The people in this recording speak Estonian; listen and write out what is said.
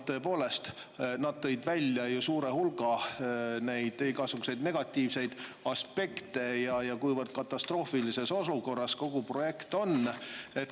Tõepoolest, nad tõid välja suure hulga igasuguseid negatiivseid aspekte ja selle, kuivõrd katastroofilises olukorras kogu projekt on.